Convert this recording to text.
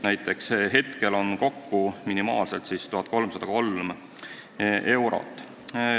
Praegu on see kokku minimaalselt 1303 eurot.